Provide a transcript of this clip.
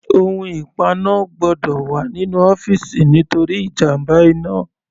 Ohun ìpaná gbọ́dọ̀ wà nínú ọ́fìsì nítorí ìjàmbá iná.